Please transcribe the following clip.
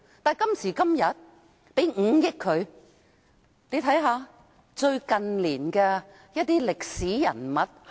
大家且看看新聞處近年的一些歷史人物。